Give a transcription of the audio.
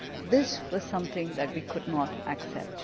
This was something that we could not accept.